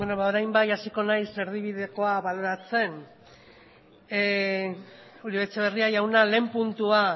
beno ba orain bai hasiko naiz erdibidekoa baloratzen uribe etxebarria jauna lehen puntua